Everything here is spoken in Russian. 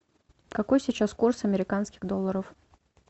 какой сейчас курс американских долларов